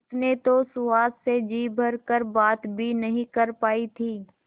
उसने तो सुहास से जी भर कर बात भी नहीं कर पाई थी